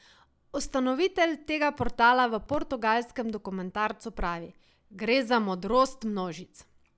Ustanovitelj tega portala v portugalskem dokumentarcu pravi: "Gre za modrost množic.